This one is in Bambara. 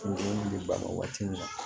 Kunkolo bɛ ban waati min na